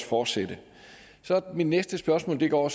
fortsætte mit næste spørgsmål går